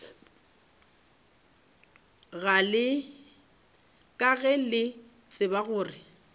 ka ge le tseba gore